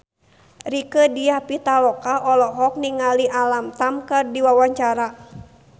Rieke Diah Pitaloka olohok ningali Alam Tam keur diwawancara